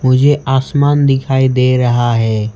मुझे आसमान दिखाई दे रहा है।